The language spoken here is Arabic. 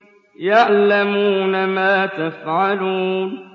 يَعْلَمُونَ مَا تَفْعَلُونَ